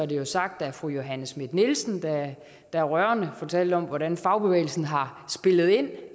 det sagt af fru johanne schmidt nielsen der rørende fortalte om hvordan fagbevægelsen har spillet ind